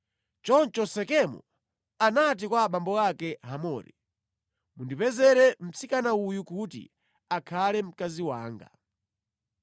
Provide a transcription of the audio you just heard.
Choncho Sekemu anati kwa abambo ake Hamori, “Mundipezere mtsikana uyu kuti akhale mkazi wanga.”